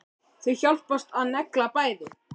Þau hjálpast að og negla bæði.